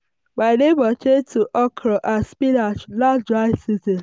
my my neighbour change to okra and spinach last um dry season.